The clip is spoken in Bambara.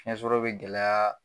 Fiɲɛsɔrɔ bi gɛlɛya